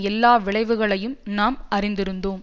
எல்லா விளைவுகளையும் நாம் அறிந்திருந்தோம்